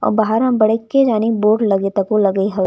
बहार म बड़के जनि बोर्ड लगे तको लगे हवय --